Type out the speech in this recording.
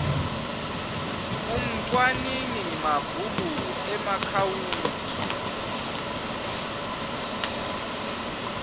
umcwaningi mabhuku emaakhawunti